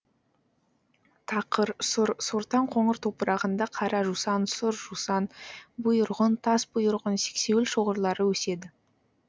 тақыр сұр сортаң қоңыр топырағында қара жусан сұр жусан бұйырғын тасбұйырғын сексеуіл шоғырлары өседі